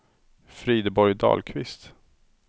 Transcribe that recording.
Frideborg Dahlqvist